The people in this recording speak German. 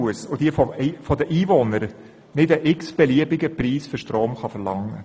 Auch kann sie von den Einwohnern keinen beliebigen Preis für den Strom verlangen.